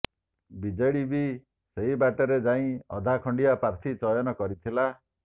BJD ବି ସେହି ବାଟରେ ଯାଇ ଅଧା ଖଣ୍ଡିଆ ପ୍ରାର୍ଥୀ ଚୟନ କରିଥିଲା